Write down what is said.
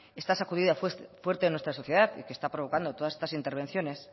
esta sacudida fuerte de la sociedad y que está provocando todas estas intervenciones